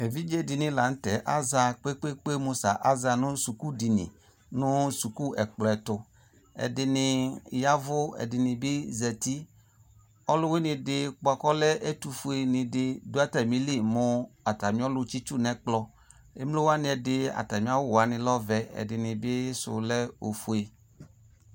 Evidze de ne lantɛ aza kpekpe mosa aza no sukudini no suku ɛkplɔ ɛto Ɛdene yavu, ɛdene be zati Ɔluwene se boako ɔɔɛ ɛtofuene de do atame li mo atame ɔlutsitdunɛkplɔ Emlo wane ɛde atame awu wane lɛ ɔvɛ, ɛde ne be so lɛ ofue